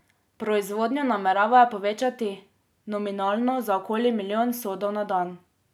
Proizvodnjo nameravajo povečati nominalno za okoli milijon sodov na dan.